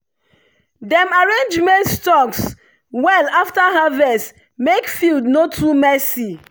dem arrange maize stalks well after harvest make field no too messy.